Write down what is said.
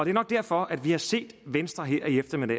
er nok derfor vi har set venstre her til eftermiddag